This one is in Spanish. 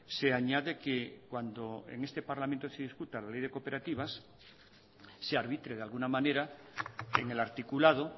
se añade que cuando en este parlamento se discuta la ley de cooperativas se arbitre de alguna manera en el articulado